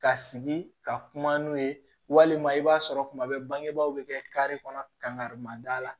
Ka sigi ka kuma n'u ye walima i b'a sɔrɔ kuma bɛɛ bangebaaw bɛ kɛ kare kɔnɔ karima da la